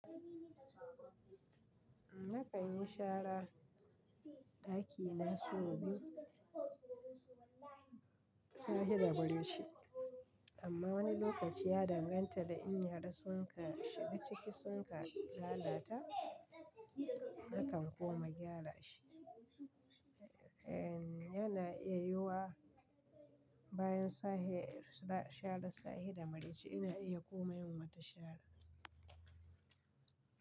Nakan yi shara ɗaki na sau biyu, safe da maraice amma wani lokaci ya danganta da in yara sun ka shiga ciki sun ka lalata, nakan kuma gyara shi. Yana iya yiwuwa bayan sharan safe da muraice ina iya kuma yin mata shara.